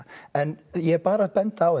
en ég er bara að benda á